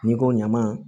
N'i ko ɲaman